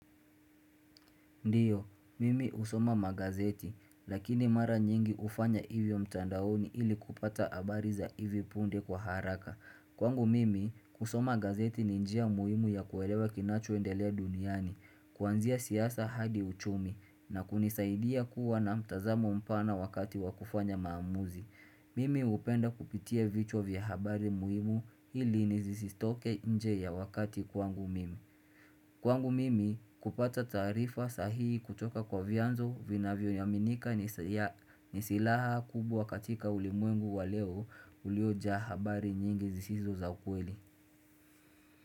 Ndiyo, mimi husoma magazeti, lakini mara nyingi hufanya hivyo mtandaoni ili kupata habari za hivi punde kwa haraka. Kwangu mimi, kusoma gazeti ni njia muhimu ya kuelewa kinachoendelea duniani, kuanzia siasa hadi uchumi, na kunisaidia kuwa na mtazamo mpana wakati wa kufanya maamuzi. Mimi hupenda kupitia vichwa vya habari muhimu ili nisitoke nje ya wakati kwangu mimi. Kwangu mimi kupata tarifa sahihi kutoka kwa vyanzo vinavyoaminika ni silaha kubwa katika ulimwengu wa leo uliojaa habari nyingi zisizo za ukweli.